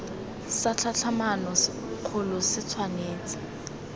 sa tlhatlhamano kgolo se tshwanetse